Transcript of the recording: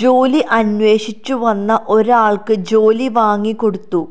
ജോലി അന്വേഷിച്ചു വന്ന ഒരാൾക്ക് ജോലി വാങ്ങിക്കൊടുത്തു